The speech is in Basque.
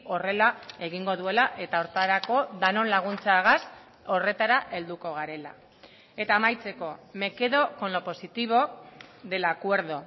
horrela egingo duela eta horretarako denon laguntzagaz horretara helduko garela eta amaitzeko me quedo con lo positivo del acuerdo